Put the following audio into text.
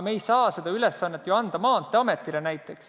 Me ei saa ju seda ülesannet anda näiteks Maanteeametile.